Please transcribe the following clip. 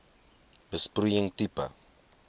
besproeiing tipe